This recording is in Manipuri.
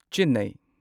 ꯆꯦꯟꯅꯥꯢ